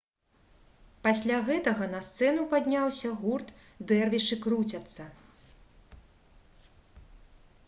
пасля гэтага на сцэну падняўся гурт «дэрвішы круцяцца»